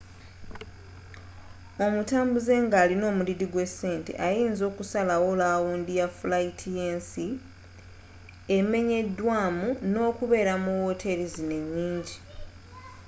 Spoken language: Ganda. omutambuuze nga alina omudidi gwesente ayinza okusalawo lawundi ya fulayiti yensi emenyedwa mu nokubeera mu woteri zino enyingi